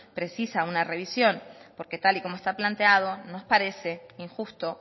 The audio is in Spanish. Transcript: precisa de una revisión porque tal y como está planteado nos parece injusto